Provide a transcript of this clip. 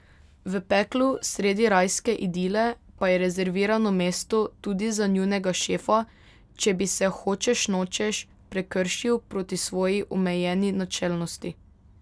V peklu sredi rajske idile pa je rezervirano mesto tudi za njunega šefa, če bi se hočeš nočeš prekršil proti svoji omenjeni načelnosti.